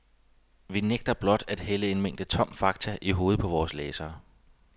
Vi nægter blot at hælde en mængde tom fakta i hovedet på vore læsere.